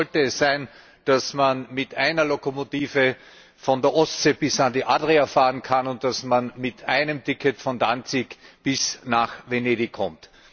Das Ziel sollte es sein, dass man mit einer Lokomotive von der Ostsee bis an die Adria fahren kann und dass man mit einem Ticket von Danzig bis nach Venedig kommt.